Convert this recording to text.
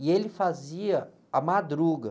E ele fazia a madruga.